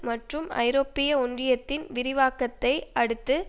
மற்றும் ஐரோப்பிய ஒன்றியத்தின் விரிவாக்கத்தை அடுத்து